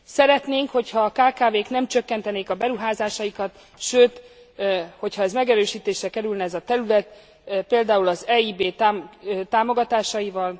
Szeretnénk, hogy ha a kkv k nem csökkentenék a beruházásaikat, sőt, hogyha megerősítésre kerülne ez a terület, például az EIB támogatásaival.